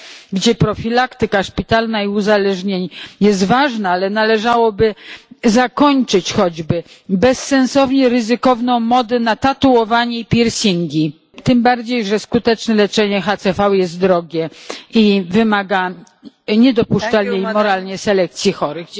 gdzie profilaktyka szpitalna i uzależnień jest ważna, ale należałoby zakończyć choćby bezsensownie ryzykowną modę na tatuowanie i piercingi tym bardziej, że skuteczne leczenie HCV jest drogie i wymaga niedopuszczalnej moralnie selekcji chorych.